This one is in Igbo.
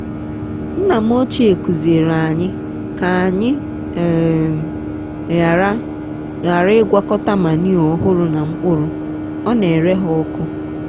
nna m ochie kụziiri anyị ka anyị um ghara ghara ịgwakọta manure ọhụrụ na mkpụrụ ọ n'ere ha ọkụ.